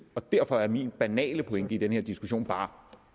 og derfor er min banale pointe i den her diskussion bare